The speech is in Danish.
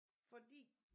Fordi